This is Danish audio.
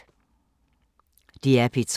DR P3